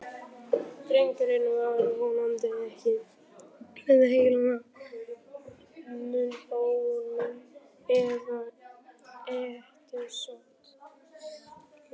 Drengurinn var vonandi ekki með heilahimnubólgu, eða hettusótt.